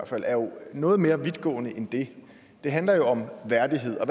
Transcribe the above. fald er jo noget mere vidtgående end det det handler jo om værdighed og